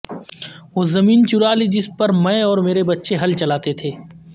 وہ زمین چرالی جس پر میں اور میرے بچے ہل چلاتے تھے